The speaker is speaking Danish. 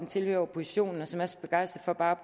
tilhører oppositionen og som er så begejstret for bare at